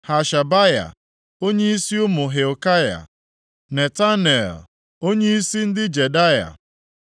Hashabaya, onyeisi ụmụ Hilkaya; Netanel, onyeisi ndị Jedaya.